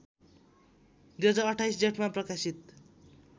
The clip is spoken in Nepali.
२०२८ जेठमा प्रकाशित